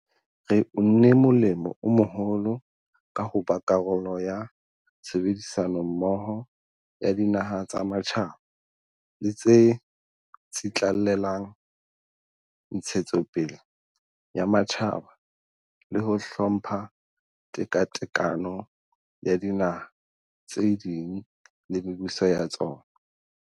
Re unne molemo o moholo ka ho ba karolo ya tshebedi sanommoho ya dinaha tsa matjhaba tse tsitlallelang ntshetso pele ya matjhaba le ho hlompha tekatekano ya dinaha tse ding le mebuso ya tsona.